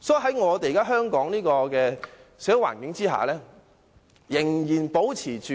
所以，在現時香港的社會環境下，仍然保持着